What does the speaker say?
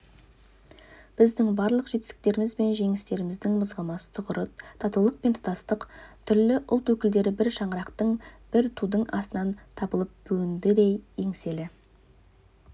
біздің барлық жетістіктеріміз бен жеңістеріміздің мызғымас тұғыры татулық пен тұтастық түрлі ұлт өкілдері бір шаңырақтың бір тудың астынан табылып бүгінгідей еңселі